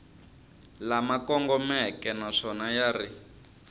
lama kongomeke naswona ya ri